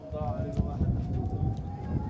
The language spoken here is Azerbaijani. Allah eləsin, qədər, Allah eləsin!